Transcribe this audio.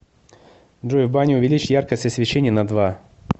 джой в бане увеличь яркость освещения на два